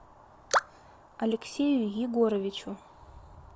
алексею егоровичу